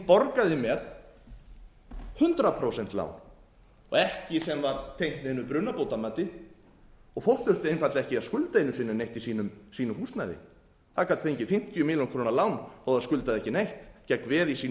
borgaði með hundrað prósent lán og ekki sem var tengt neinu brunabótamati fólk þurfti einfaldlega ekki að skulda einu sinni neitt í sínu húsnæði það gat fengið fimmtíu milljónir króna lán þó að það skuldaði ekki neitt gegn veði í sínu